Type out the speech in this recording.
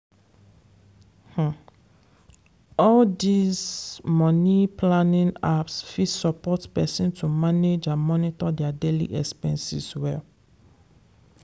um all these money-planning apps fit support person to manage and monitor their daily expenses well.